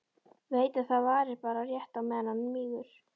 Veit að það varir bara rétt á meðan hann mígur.